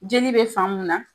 Jeli bɛ faamun na